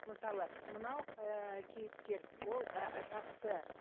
мысалы мынау ыыы кейіпкер ол ы жақсы